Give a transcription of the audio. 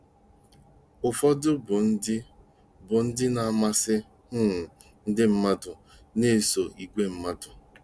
Ụfọdụ bụ ndị bụ ndị na-amasị um ndị mmadụ na-eso igwe mmadụ.